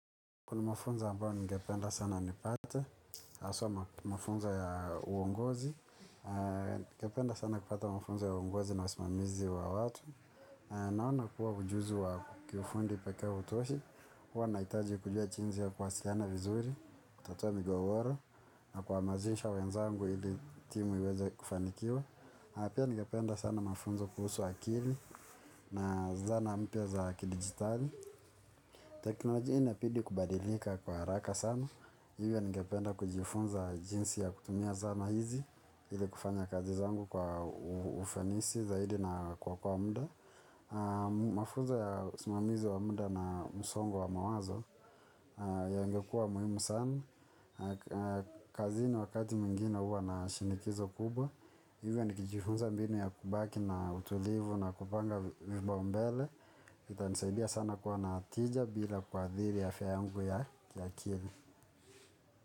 Kuna mafunzo ambayo ningependa sana nipate haswa mafunza ya uongozi, ningependa sana kupata mafunzo ya uongozi na wasimamizi wa watu. Naona kuwa ujuzi wangu kiufundi pekee hautoshi, huwa nahitaji kujua jinsi ya kuwasiliana vizuri, kutatua migogoro, na kuhamasisha wenzangu ili timu iweze kufanikiwa. Na pia ningependa sana mafunzo kuhusu akili, na zana mpya za kidigitali. Teknoloji inabidi kubadilika kwa haraka sana, hivyo ningependa kujifunza jinsi ya kutumia zana hizi, ili kufanya kazi zangu kwa ufanisi zaidi na kuokoa muda. Mafunz ya usimamizi wa muda na msongo wa mawazo yangekuwa muhimu sana. Kazini wakati mwingine huwa na shinikizo kubwa either ni kijifunza mbinu ya kubaki na utulivu na kupanga vipao mbele. Itanisaidia sana kwa na tija bila kuadhiri afya yangu ya kiakili.